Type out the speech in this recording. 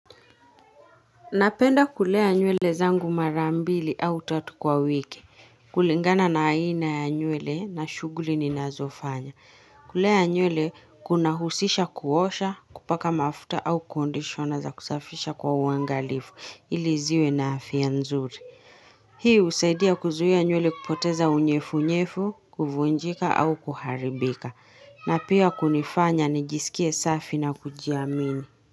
Napenda kulea nywele zangu mara mbili au tatu kwa wiki. Kulingana na aina ya nywele na shughuli ninazofanya. Kulea nywele kuna husisha kuosha, kupaka mafuta au kondishona zakusafisha kwa uangalifu ili ziwe na afya nzuri. Hii husaidia kuzuia nywele kupoteza unyevunyevu, kuvunjika au kuharibika. Na pia kunifanya nijisikie safi na kujiamini.